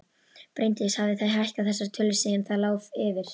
Bryndís: Hafið þið hækkað þessar tölur síðan það lá fyrir?